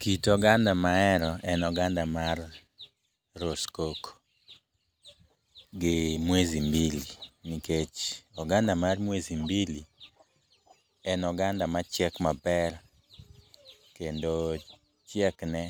Kit oganda mahero en oganda mar roskoko gi mwezi mbili, nikech oganda mar mwezi mbili en oganda machiek maber ,kendo chiekne